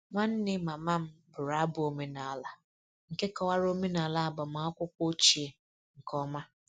Nwanne mama m bụrụ abụ omenala nke kọwara omenala agbamakwụkwọ ochie nke ọma